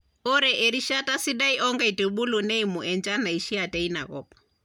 Ore erishata sidai oo nkaitubulu neimu enchan naishia teina kop.